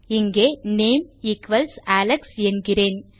இங்கே name equals Alex என்கிறேன்